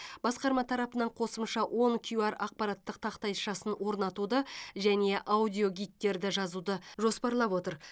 басқарма тарапынан қосымша он кюар ақпараттық тақтайшасын орнатуды және аудиогидтерді жазуды жоспарлап отыр